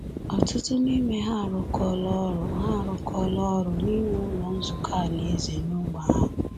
Ọtụtụ n’ime ha arụkọọla ọrụ ha arụkọọla ọrụ n’iwu Ụlọ Nzukọ Alaeze n’ógbè ahụ.